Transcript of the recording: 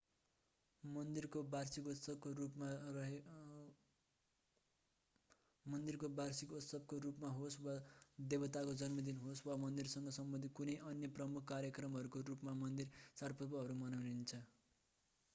मन्दिरको वार्षिकोत्सवको रूपमा होस्‌ वा देवताका जन्मदिन होस्‌ वा मन्दिरसँग सम्बन्धित कुनै अन्य प्रमुख कार्यक्रमहरूको रूपमा मन्दिरमा चाडपर्वहरू मनाइन्छ।